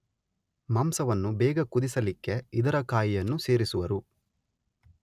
ಮಾಂಸವನ್ನು ಬೇಗ ಕುದಿಸಲಿಕ್ಕೆ ಇದರ ಕಾಯಿಯನ್ನು ಸೇರಿಸುವರು